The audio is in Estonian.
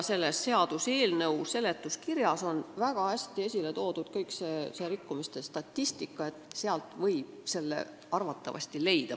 Selle seaduseelnõu seletuskirjas on väga hästi esile toodud kogu rikkumiste statistika, sealt võib sellegi rikkumise arvatavasti leida.